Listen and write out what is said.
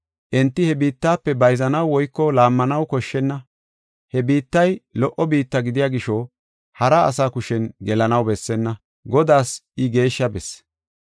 Enti he biittafe bayzanaw woyko laammanaw koshshenna. He biittay lo77o biitta gidiya gisho, hara asa kushen gelanaw bessenna; Godaas I geeshsha besse.